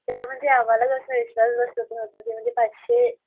तेव्हा म्हणजे आम्हाला अस विश्वास बसत नहुता कि म्हणजे पाचशे